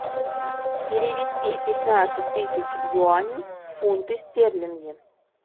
перевести пятнадцать тысяч юаней в фунты стерлинги